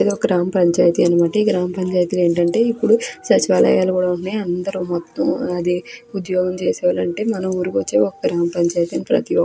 ఇది ఒక గ్రామ్ పంచాయితీ అన్నమాట. ఈ గ్రామ్ పంచాయితీలో ఏంటంటే ఇప్పుడు సచివాలయాలు కూడా ఉంటున్నాయి. అందరూ మొత్తం అదే ఉద్యోగం చేసే వాళ్ళు ఉంటే మన ఊరుకి ఒక గ్రామ్ పంచాయితీ ప్రతి ఒక్ --